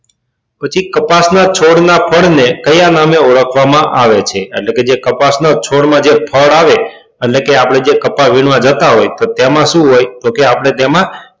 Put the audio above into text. પછી કપાસ ના છોડ ના ફળ ને કયા નામે ઓળખવા માં આવે છે એટલે કે જે કપાસ ના છોડ માં જે ફળ આવે એટલે કે આપડે જે કપાસ વીણવા જતા હોય તો તેમાં સુ હોય તો કે આપડે તેમાં